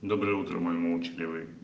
доброе утро мой молчаливый